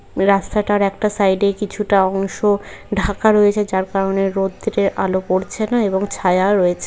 রাস্তাটার একটা সাইড -এ কিছুটা অংশ ঢাকা রয়েছে। যার কারণে রোদ্রের আলো পড়ছে না এবং ছায়া রয়েছে ।